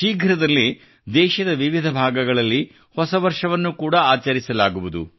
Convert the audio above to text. ಶೀಘ್ರದಲ್ಲೇ ದೇಶದ ವಿವಿಧ ಭಾಗಗಳಲ್ಲಿ ಹೊಸ ವರ್ಷವನ್ನು ಕೂಡಾ ಆಚರಿಸಲಾಗುವುದು